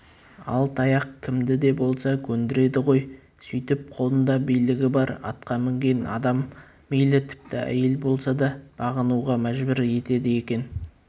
ал таяқ кімді де болса көндіреді ғой сөйтіп қолында билігі бар атқа мінген адам мейлі тіпті әйел болса да бағынуға мәжбүр етеді екен